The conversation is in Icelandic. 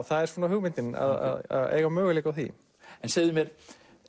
það er svona hugmyndin að eiga möguleika á því segðu mér